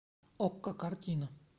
окко картина